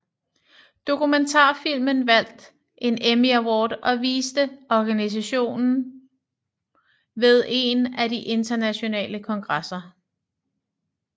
Dokumentarfilmen vandt en Emmy Award og viste organisationen ved en af de internationale kongresser